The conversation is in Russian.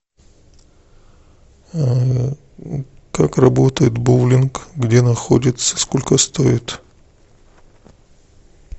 как работает боулинг где находится сколько стоит